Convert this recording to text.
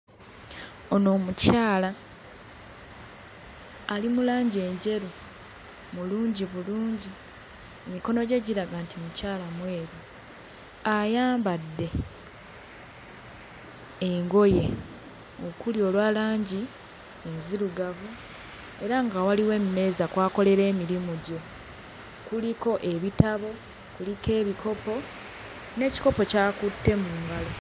Ono omukyala ali mu langi enjeru mulungi bulungi emikono gye giraga nti mukyala mweru ayambadde engoye okuli olwa langi enzirugavu era nga waliwo emmeeza kw'akolera emirimu gye kuliko ebitabo kuliko ebikopo n'ekikopo ky'akutte mu ngalo.